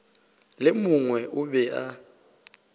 le mongwe o be a